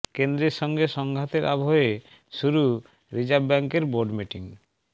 কেন্দ্রের সঙ্গে সংঘাতের আবহে শুরু রিজার্ভ ব্যাঙ্কের বোর্ড মিটিং